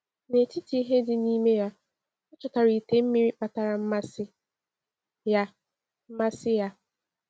N’etiti ihe dị n’ime ya, o chọtara ite mmiri kpatara mmasị ya. mmasị ya.